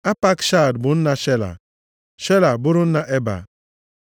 Apakshad bụ nna Shela, Shela bụrụ nna Eba.